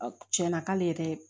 Tiɲɛna k'ale yɛrɛ